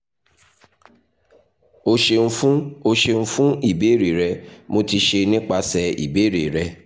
o ṣeun fun o ṣeun fun ibeere rẹ mo ti ṣe nipasẹ ibeere rẹ